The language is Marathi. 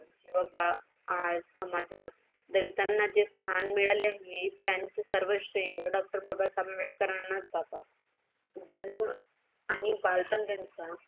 आज समाजात दलितांना जे स्थान मिळाले आहे त्यांचेसर्व श्रेय डॉक्टर बाबासाहेब आंबेडकरांनाच जातात. जन आणि नेनुसार